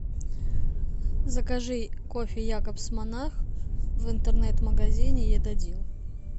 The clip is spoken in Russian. закажи кофе якобс монарх в интернет магазине едадил